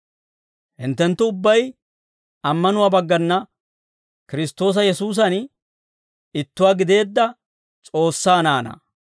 Hinttenttu ubbay ammanuwaa baggana Kiristtoosa Yesuusan ittuwaa gideedda S'oossaa naanaa.